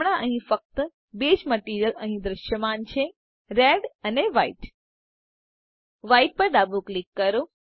હમણાં અહીં ફક્ત બે જ મટીરીઅલ અહી દ્રશ્યમાન છે રેડ અને વ્હાઇટ Whiteપર ડાબું ક્લિક કરો